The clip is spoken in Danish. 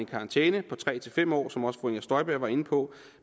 karantæne på tre fem år som også fru inger støjberg var inde på